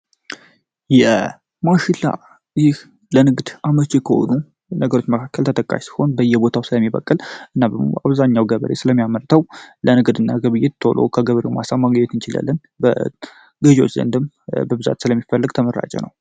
ማሽላ ለንግድ አመቺ ከሆኑ ነገሮች መካከል ተጠቃሽ ሲሆን በእየቦታው ስለሚበቅል እና አብዛኛው ገበሬም ስለሚያመርተው ለንግ ጥሩ እና በየገበሬው ማሳ ልናገኘው እንችላለን። በገዢዎች ዘንድም በብዛት ስለሚፈልግ ተመራጭ ነው።